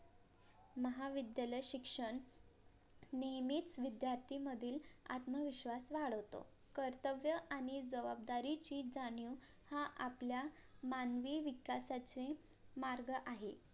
महाविद्यालय शिक्षण नेहमीच विद्यार्थी मधील आत्मविश्वास वाढवतो कर्तव्य आणि जवाबदारीची जाणीव हा आपल्या मानवी विकासाचे मार्ग आहे